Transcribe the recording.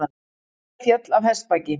Stúlka féll af hestbaki